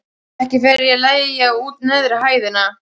Ekki fer ég að leigja út neðri hæðina.